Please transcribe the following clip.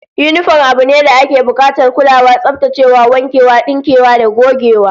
Yinifom abu ne dake bukatar kulawa, tsaftacewa, wankewa, dinkewa da gogewa